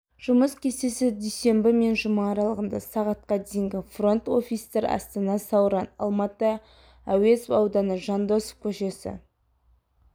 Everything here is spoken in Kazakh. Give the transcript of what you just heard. жұмыс кестесі дүйсенбі мен жұма аралығында сағатқа дейінгі фронт-офистер астана сауран алматы әуезов ауданы жандосов көшесі